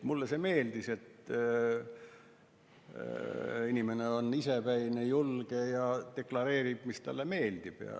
Mulle see meeldis, et inimene on isepäine, julge ja deklareerib, mis talle meeldib.